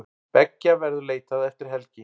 Beggja verður leitað eftir helgi.